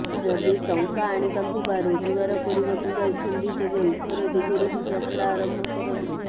ଯଦି ଟଙ୍କା ଆଣିବାକୁ ବା ରୋଜଗାର କରିବାକୁ ଯାଉଛନ୍ତି ତେବେ ଉତ୍ତର ଦିଗରେ ହିଁ ଯାତ୍ରା ଆରମ୍ଭ କରନ୍ତୁ